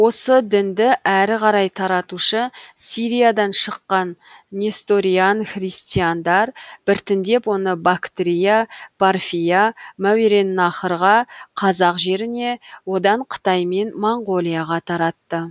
осы дінді әрі қарай таратушы сириядан шыққан несториан христиандар біртіндеп оны бактрия парфия мәуереннахрға қазақ жеріне одан қытай мен моңғолияға таратты